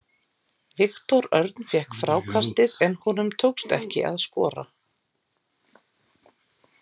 Viktor Örn fékk frákastið en honum tókst ekki að skora.